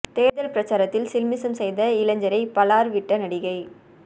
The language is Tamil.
தேர்தல் பிரச்சாரத்தில் சில்மிசம் செய்த இளைஞரை பளார் விட்ட நடிகை